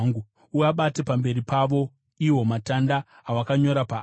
Uabate pamberi pavo iwo matanda awakanyora paari